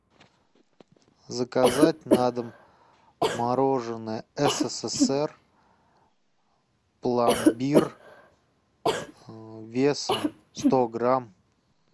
заказать на дом мороженое ссср пломбир весом сто грамм